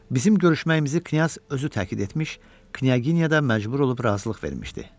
Bizim görüşməyimizi knyaz özü təkid etmiş, knyaginya da məcbur olub razılıq vermişdi.